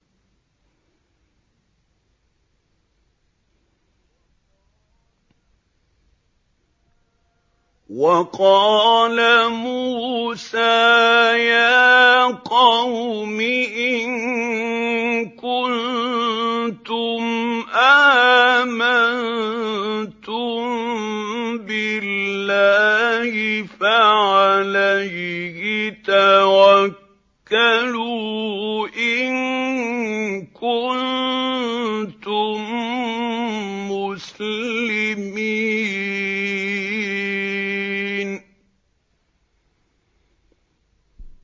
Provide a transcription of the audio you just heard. وَقَالَ مُوسَىٰ يَا قَوْمِ إِن كُنتُمْ آمَنتُم بِاللَّهِ فَعَلَيْهِ تَوَكَّلُوا إِن كُنتُم مُّسْلِمِينَ